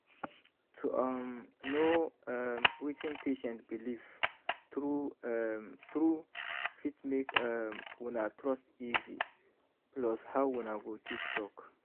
to um know erm wetin patient believe true um true fit make um una trust easy plus how una go take talk.